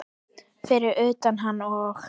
Fyrir utan hann og